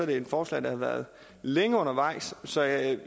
det et forslag der har været længe undervejs så jeg